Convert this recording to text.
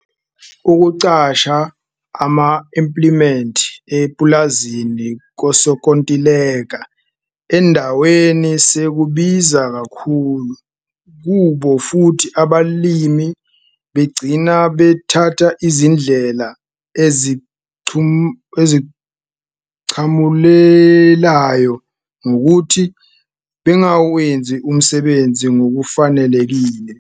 Ukuqasha ama-implimenti epulazi kosonkontileka endaweni sekubiza kakhulu kubo futhi abalimi begcina bethatha izindlela ezinqamulelayo ngokuthi bengawenzi umsebenzi ngokufanelekile.